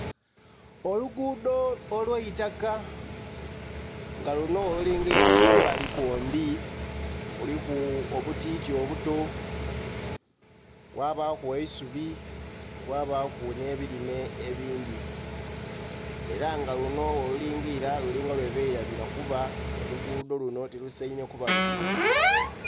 Oluguudho olw' eitaka. Nga luno bwolulingirira kumbali kwombi, kuliku obu tiiti obuto, kwabaaku eisubi, kwabaaku nhe ebirime ebindhi. Era nga luno bwolulingirira lulinga lwebelabira kuba obuguudho luno tilusainhe kuba luti.